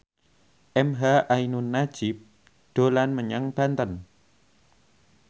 emha ainun nadjib dolan menyang Banten